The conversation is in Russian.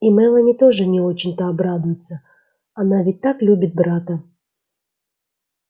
и мелани тоже не очень-то обрадуется она ведь так любит брата